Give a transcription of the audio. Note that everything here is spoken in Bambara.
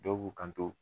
Dɔw b'u kanto